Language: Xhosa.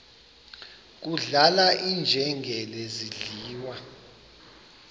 kudlala iinjengele zidliwa